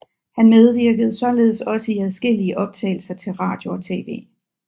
Han medvirkede således også i adskillige optagelser til radio og tv